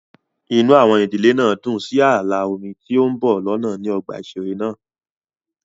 Inú àwọn ìdílé náà dùn sí ààlà omi tí ń bọ̀ lọ́nà ní ọgbà ìṣeré náà